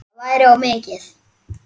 Það væri of mikið.